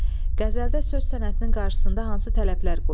Qəzəldə söz sənətinin qarşısında hansı tələblər qoyulub?